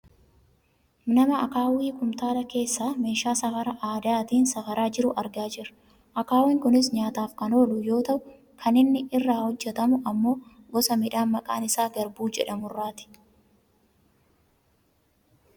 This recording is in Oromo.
nama akaawwii kumtaala keessaa meeshaa safara aadaatiin safaraa jiru argaa jirra. akaawwiin kunis nyaataaf kan oolu yoo ta'u kan inni irraa hojjatamu ammoo gosa midhaan maqaan isaa garbuu jedhamu irraati.